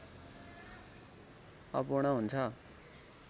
अपूर्ण हुन्छ